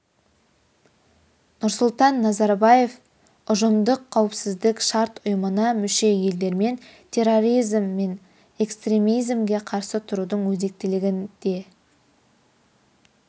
нұрсұлтан назарбаев ұжымдық қауіпсіздік шарт ұйымына мүше елдермен терроризім мен экстремизмге қарсы тұрудың өзектілігін де